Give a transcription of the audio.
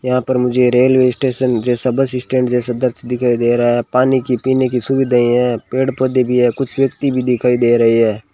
यहां पर मुझे रेलवे स्टेशन जैसा बस स्टैंड जैसा दृश्य दिखाई दे रहा है पानी की पीने की सुविधा है पेड़ पौधे भी है कुछ व्यक्ति भी दिखाई दे रहे है।